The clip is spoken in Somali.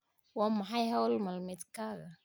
Waa maxay hawl maalmeedkaaga?